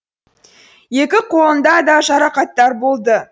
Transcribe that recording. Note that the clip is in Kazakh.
екі қолында да жарақаттар болды